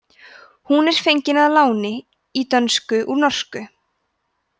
hún er fengin að láni í dönsku úr norsku